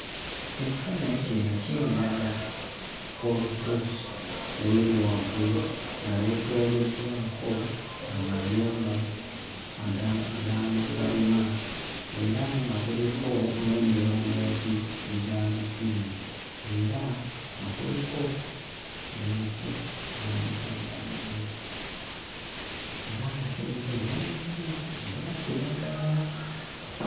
Ekifaananyi kino kindaga olusozi oluli waggulu nga lwetooloddwako amayumba ag'amakalina era nga kuliko n'emirongooti egy'amasimu. Era nga kuliko n'emiti gy'amasannyalaze. Era nga kuliko n'emiti egya kiragala.